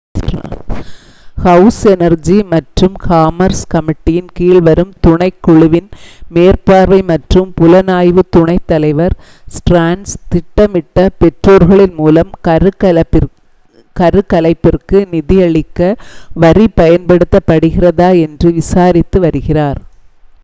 house Energy மற்றும் Commerce கமிட்டியின் கீழ் வரும் துணைக் குழுவின் மேற்பார்வை மற்றும் புலனாய்வுத் துணைத் தலைவர் ஸ்டர்ன்ஸ் திட்டமிட்ட பெற்றோர்களின் மூலம் கருக்கலைப்பிற்கு நிதியளிக்க வரி பயன்படுகிறதா என்று விசாரித்து வருகிறார்